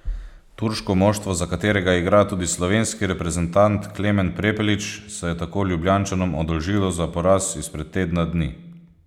Turško moštvo, za katerega igra tudi slovenski reprezentant Klemen Prepelič, se je tako Ljubljančanom oddolžilo za poraz izpred tedna dni.